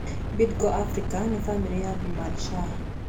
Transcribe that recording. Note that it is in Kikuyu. Bidco Africa nĩ bamĩrĩ ya Vimal Shah.